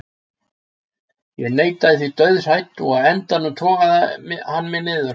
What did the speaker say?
Ég neitaði því dauðhrædd og á endanum togaði hann mig niður.